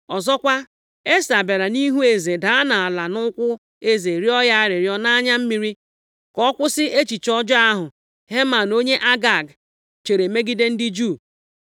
Ọzọkwa, Esta bịara nʼihu eze daa nʼala nʼụkwụ eze rịọ ya arịrịọ nʼanya mmiri ka ọ kwụsị echiche ọjọọ ahụ Heman onye Agag, chere megide ndị Juu.